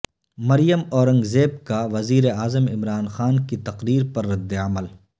مریم اورنگزیب کا وزیر اعظم عمران خان کی تقریر پر ردعمل